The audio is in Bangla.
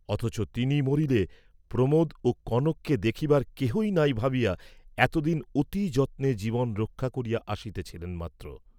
অথচ তিনি মরিলে প্রমোদ ও কনককে দেখিবার কেহই নাই ভাবিয়া এতদিন অতি যত্নে জীবন রক্ষা করিয়া আসিতেছিলেন মাত্র।